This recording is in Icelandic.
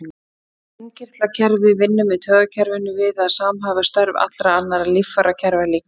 Innkirtlakerfið vinnur með taugakerfinu við að samhæfa störf allra annarra líffærakerfa líkamans.